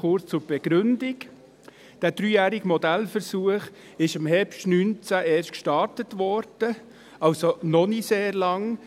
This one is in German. Kurz zur Begründung: Der dreijährige Modellversuch wurde im Herbst 2019 erst gestartet, er läuft also noch nicht sehr lange.